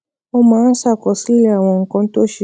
ó máa ń ṣàkọsílẹ̀ àwọn nǹkan tó ṣe